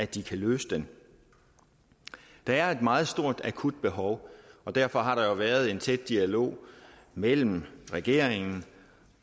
de kan løse den der er et meget stort og akut behov og derfor har der været en tæt dialog mellem regeringen